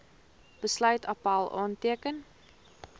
besluit appèl aanteken